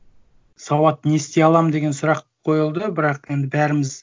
сауат не істей аламын деген сұрақ қойылды бірақ енді бәріміз